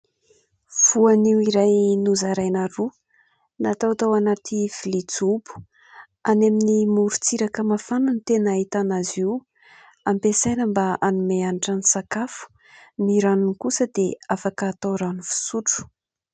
Voanio iray nozaraina roa natao tao anaty vilia jobo ; any amin'ny morontsiraka mafana ny tena ahitana azy io. Hampiasaina mba hanome hanitra ny sakafo, ny ranony kosa dia afaka atao rano fisotro.